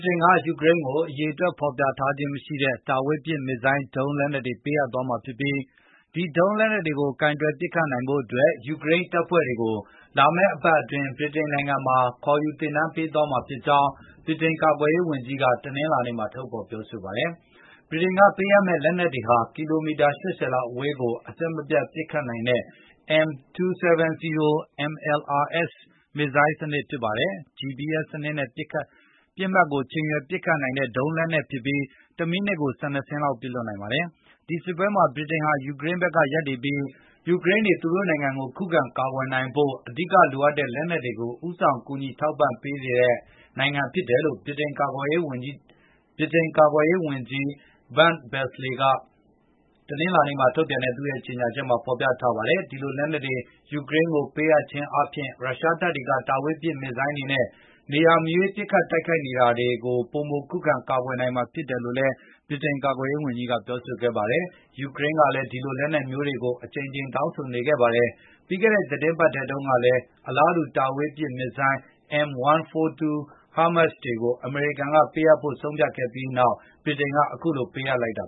တိန်က ယူကရိန်းကို အရေအတွက်ဖေါ်ပြထားခြင်းမရှိတဲ့ မစ်ဇိုင်းဒုံး လက်နက်တွေပေးအပ်သွားမှာဖြစ်ပြီး ဒီဒုံးလက်နှက်တွေကိုကိုင်တွယ်ပစ်ခတ်နိုင်ဖို့ ယူကရိန်းတပ်ဖွဲ့တွေကို လာမယ့်အပတ်အတွင်း ဗြိတိန်နိုင်ငံမှာခေါ်ယူသင်တန်းပေးသွားမှာဖြစ်ကြောင်း ဗြိတိန်ကာကွယ်ရေးဝန်ကြီးက တနင်္လာနေ့မှာထုတ်ဖေါ်ကြေငြာပါတယ်။ ဗြိတိန်ကပေးအပ်မယ့်လက်နက်ဟာ ကီလိုမီတာ ၈၀ လောက်အဝေးကို အဆက်မပြတ် ပစ်ခတ်နိုင်တဲ့ M270 MLRS မစ်ဇိုင်းစနစ်ဖြစ်ပါတယ်။ GPS နဲ့ပစ်မှတ်ကိုချိန်ရွယ်ပစ်ခတ်နိုင်တဲ့ ဒီဒုံးလက်နက်ဟာ တမိနစ်ကို ၁၂ စင်းပစ်လွှတ်နိုင်ပါတယ်။ ဒီစစ်ပွဲမှာ ဗြိတိန်ဟာ ယူကရိန်းဘက်ရပ်တည်ပြီး ယူကရိန်းတွေ သူတို့နိုင်ငံကိုခုခံကာကွယ်နိုင်ဖို့ အဓိကလိုအပ်တဲ့လက်နက်တွေကို ဦးဆောင်ကူညီထောက်ပံ့ပေးနေတဲ့ နိုင်ငံဖြစ်တယ်လို့ ဗြိတိန်ကာကွယ်ရေးဝန်ကြီးချုပ် Ben Vallace က တနင်္လာနေ့မှာ ထုတ်ပြန်တဲ့သူရဲ့ကြေညာချက်မှာဖေါ်ပြထားပါတယ်။ ဒီလိုလက်နက်တွေ ယူကရိန်းကိုပေးအပ်ခြင်းအားဖြင့် ရုရှားတပ်တွေက ဒုံးကျည်တွေနဲ့နေရာမရွေးပစ်ခတ်တိုက်ခိုက်နေတာတွေကပိုမိို ခုခံကာကွယ်နိုင်မှာဖြစ်တယ်လို့လည်း ဗြိတိန်ကာကွယ်ရေးဝန်ကြီးကပြောပါတယ်။ ယူကရိန်းကလည်း ဒီလိုလက်နက်မျိုးတွေကိုအကြိမ်ကြိမ်တောင်းဆိုနေခဲ့ပါတယ်။ ပြီးခဲ့တဲ့ သီတင်းပတ် ထဲတုန်းကလည်း အလားတူ M142 HIMARS ဒုံးကျည်တွေကိုအမေရိကန်ကပေးအပ်ဖို့ ဆုံးဖြတ်ခဲ့ပြီးနောက်ဗြိတိန်ကလည်းအခုလိုပေးအပ်လိုက်တာ